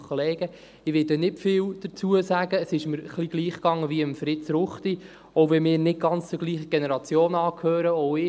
Ich werde nicht viel dazu sagen, es ging mir ein wenig gleich wie Fritz Ruchti, auch wenn wir nicht ganz derselben Generation angehören.